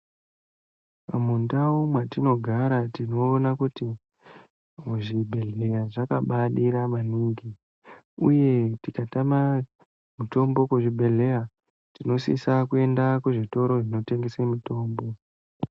Mundau matinogara tinoona kuti muzvibhehlera zvakabadira manhingi uye tikatama mitombo kuzvibhehlera tinosise kuenda kuzvitoro zvinotengesa mitombo.